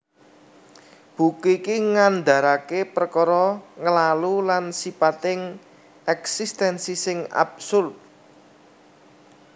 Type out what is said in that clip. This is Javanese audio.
Buku iki ngandaraké perkara nglalu lan sipating èksistènsi sing absurd